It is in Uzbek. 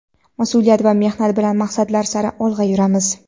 mas’uliyat va mehnat bilan maqsadlar sari olg‘a yuramiz.